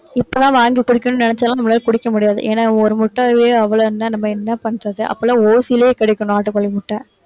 இப்பெல்லாம் வாங்கி குடிக்கணும்னு நினைச்சா எல்லாம், நம்மளால குடிக்க முடியாது. ஏன்னா ஒரு முட்டையே அவ்வளவு இருந்தா நம்ம என்ன பண்றது? அப்ப எல்லாம் ஓசியிலேயே கிடைக்கும், நாட்டுக்கோழி முட்டை.